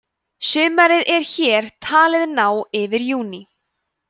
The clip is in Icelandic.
sumarið er hér talið ná yfir júní